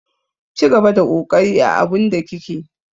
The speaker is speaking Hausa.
Cigaba da kokari a abun da kike.